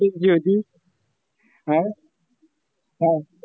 अं? हं.